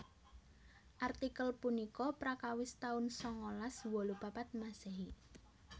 Artikel punika prakawis taun sangalas wolu papat Masehi